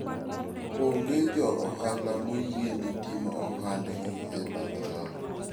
Onge jo ohala moyiene timo ohandgi e bath ndara.